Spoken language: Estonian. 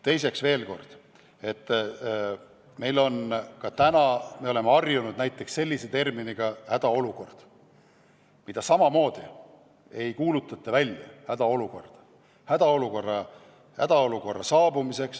Teiseks, veel kord: me oleme harjunud terminiga "hädaolukord", mida samamoodi ei kuulutata välja.